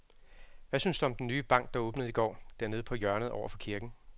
Hvad synes du om den nye bank, der åbnede i går dernede på hjørnet over for kirken?